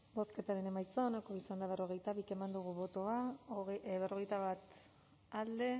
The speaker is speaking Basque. bozketaren emaitza onako izan da hirurogeita hamalau eman dugu bozka berrogeita bat boto alde